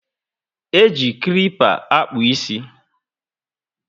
E ji klipper akpu isi